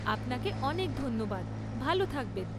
আপনাকে অনেক ধন্যবাদ, ভাল থাকবেন।